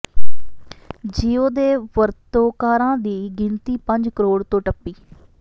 JIO ਦੇ ਵਰਤੋਂਕਾਰਾਂ ਦੀ ਗਿਣਤੀ ਪੰਜ ਕਰੋਡ਼ ਤੋਂ ਟੱਪੀ